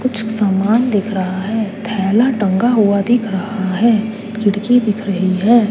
कुछ सामान दिख रहा है थैला टंगा हुआ दिख रहा है खिड़की दिख रही है।